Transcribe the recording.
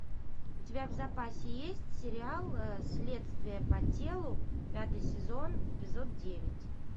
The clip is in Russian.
у тебя в запасе есть сериал следствие по телу пятый сезон эпизод девять